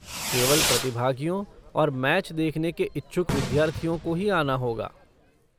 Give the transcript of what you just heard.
केवल प्रतिभागियों और मैच देखने के इच्छुक विद्यार्थियों को ही आना होगा।